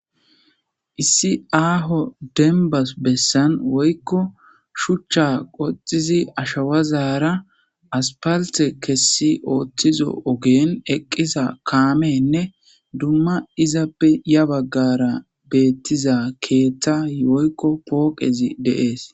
Issi aho woy deniba besan woyiko shucha qoxizi ashawazara asfalite kesi othizo oge eqiza kameyne duma izape yabagara betiza kethay ketha woyiko poqezi de'es